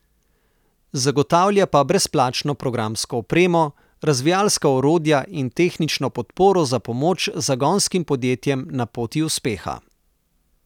Zagotavlja pa brezplačno programsko opremo, razvijalska orodja in tehnično podporo za pomoč zagonskim podjetjem na poti uspeha.